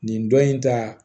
Nin dɔ in ta